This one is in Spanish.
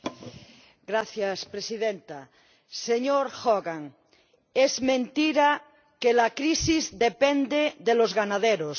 Señora Presidenta. Señor Hogan, es mentira que la crisis dependa de los ganaderos.